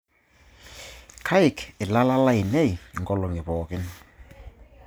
Akaik ilala lainei inkolong'i pooki